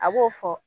A b'o fɔ